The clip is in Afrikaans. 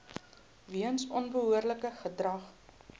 weens onbehoorlike gedrag